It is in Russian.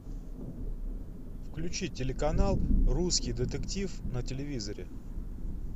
включи телеканал русский детектив на телевизоре